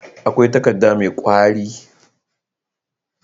akwai takadda me kwari